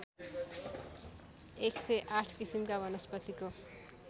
१०८ किसिमका वनस्पतिको